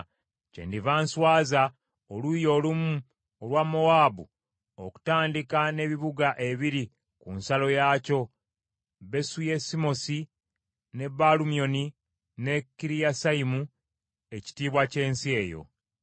kyendiva nswaza oluuyi olumu olwa Mowaabu okutandika n’ebibuga ebiri ku nsalo yaakyo, Besu Yesimosi, ne Baalu Myoni, ne Kiriyasayimu, ekitiibwa ky’ensi eyo.